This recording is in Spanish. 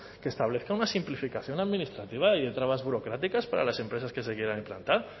que establezca una simplificación administrativa y de trabas burocráticas para las empresas que se quieran implantar